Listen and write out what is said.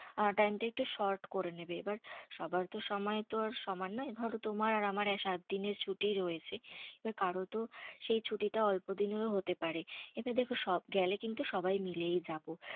Time টা একটু sort করে নেবে। এবার সবার তো সময় তো আর সমান নয়। ধরো তোমার আর আমার সাতদিনের ছুটি রয়েছে। এবার কারো তো সেই ছুটিটা অল্পদিনেরও হতে পারে। এবার দেখো, সব গেলে কিন্তু সবাই মিলেই যাবো।